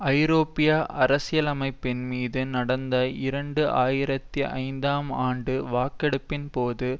ஐரோப்பிய அரசியலமைப்பின் மீது நடந்த இரண்டு ஆயிரத்தி ஐந்தாம் ஆண்டு வாக்கெடுப்பின்போது